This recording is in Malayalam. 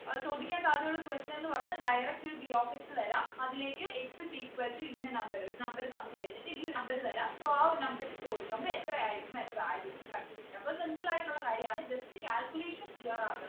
ഏർ ചോദിക്കാൻ സാധ്യതയുള്ള question ന്നു പറഞ്ഞാൽ direct p of x തരാം അതിലേക്ക് x is equal to ഇന്ന number ഒരു number തന്നു കഴിഞ്ഞിട്ടു ഈ number തരാം so ആ ഒരു number ഇട്ടു കൊടുക്കുമ്പോ എത്ര ആയിരിക്കും അയിന്റെ value ന്ന് കണ്ടുപിടിക്കാം അപ്പൊ simple ആയിട്ട് ഉള്ള കാര്യമാണ് just calculation clear ആകണം